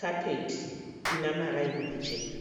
kapeti ina maraini machena.